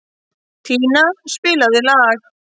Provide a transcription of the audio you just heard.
Tanía, spilaðu lag.